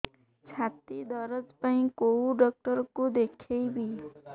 ଛାତି ଦରଜ ପାଇଁ କୋଉ ଡକ୍ଟର କୁ ଦେଖେଇବି